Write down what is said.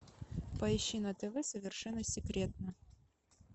поищи на тв совершенно секретно